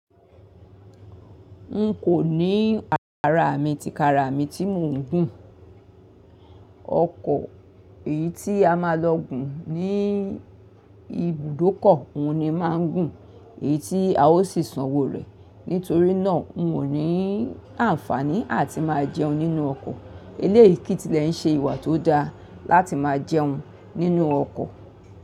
N kò ní a-- àrà mi ti kara mi tí mò ń gùn. Ọkọ̀ èyí tí a máa lọ gùn ní ibùdókọ̀ òun ni máa ń gùn, èyí tí a ó sì sanwó rẹ̀. Nítorí náà n ò ní àǹfààní àti máa jẹun nínú ọkọ̀. Eléyìí kí tilẹ̀ ń ṣe ìwà tó da láti máa jẹun nínú ọkọ̀.